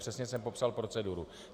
Přesně jsem popsal proceduru.